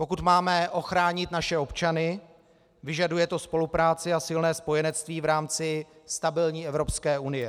Pokud máme ochránit naše občany, vyžaduje to spolupráci a silné spojenectví v rámci stabilní Evropské unie.